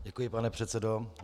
Děkuji, pane předsedo.